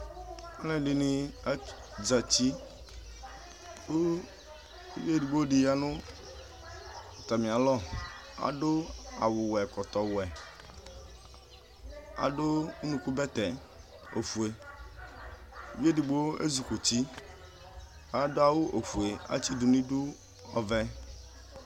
Alʋɛdini azatɩ kʋ ʋvi edigbodɩ yanʋ atamɩ alɔ, adʋ awʋwɛ ɛkɔtɔwɛ, adʋ ʋnʋkʋbɛtɛ ofue, ʋvɩ ɛdigbo azɩ kɔ ʋtɩ, . adʋ awʋ ofue atsɩdʋ nʋ idʋ ɔvɛ